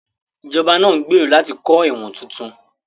Ìjọba ń gbèrò láti kọ́ ẹ̀wọ̀n tuntun